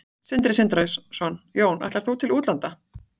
Sindri Sindrason: Jón, ætlar þú til útlanda?